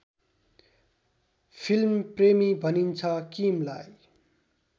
फिल्मप्रेमी भनिन्छ किमलाई